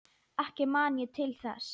Ekki man ég til þess.